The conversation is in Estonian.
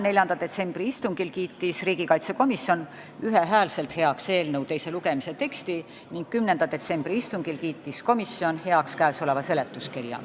4. detsembri istungil kiitis riigikaitsekomisjon ühel häälel heaks eelnõu teise lugemise teksti, 10. detsembri istungil aga selle seletuskirja.